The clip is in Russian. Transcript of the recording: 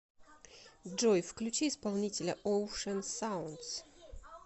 джой включи исполнителя оушен саундс